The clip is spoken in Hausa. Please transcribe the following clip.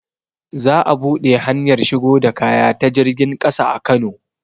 Za a buɗe hanyar shigo da kaya ta jirgin ƙasa a kano